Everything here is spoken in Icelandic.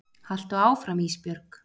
Haltu áfram Ísbjörg.